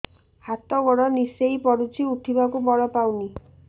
ହାତ ଗୋଡ ନିସେଇ ପଡୁଛି ଉଠିବାକୁ ବଳ ପାଉନି